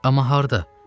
Amma harda?